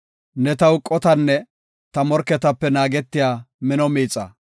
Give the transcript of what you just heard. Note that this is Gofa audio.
Ne taw qotanne ta morketape naagetiya mino miixa.